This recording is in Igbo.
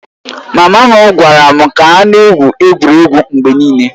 Mama m gwara m ka ha na-egwu egwuregwu mgbe niile